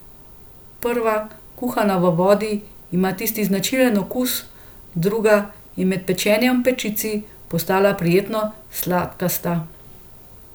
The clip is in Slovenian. Prva, kuhana v vodi, ima tisti značilen okus, druga je med pečenjem v pečici postala prijetno sladkasta.